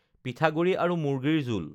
পিঠাগুড়ি আৰু মুৰ্গীৰ জোল